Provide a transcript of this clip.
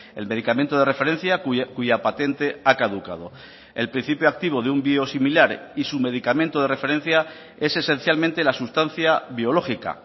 el medicamento de referencia cuya patente ha caducado el principio activo de un biosimilar y su medicamento de referencia es esencialmente la sustancia biológica